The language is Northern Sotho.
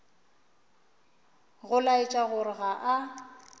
go laetša gore ga a